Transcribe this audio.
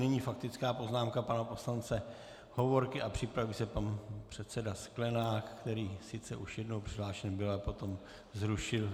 Nyní faktická poznámka pana poslance Hovorky a připraví se pan předseda Sklenák, který sice už jednou přihlášen byl, ale potom zrušil.